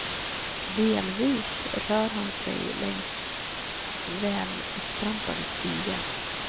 Delvis rör han sig längs välupptrampade stigar.